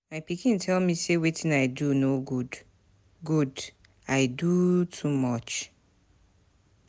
My pikin tell me say wetin I do no good, good, I doo too much